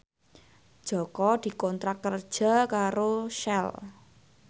Jaka dikontrak kerja karo Shell